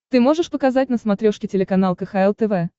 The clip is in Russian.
ты можешь показать на смотрешке телеканал кхл тв